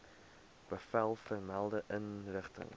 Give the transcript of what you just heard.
bevel vermelde inrigting